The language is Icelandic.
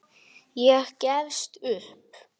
Ég gefst upp.